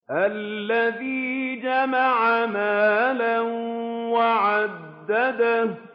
الَّذِي جَمَعَ مَالًا وَعَدَّدَهُ